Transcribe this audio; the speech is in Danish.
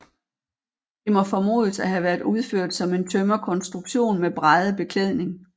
Det må formodes at have været udført som en tømmerkonstruktion med bræddebeklædning